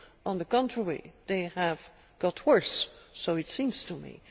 On the contrary they have got worse, it seems to me.